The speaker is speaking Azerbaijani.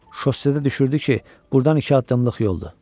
Şossedə düşürtdü ki, burdan iki addımlıq yoldur.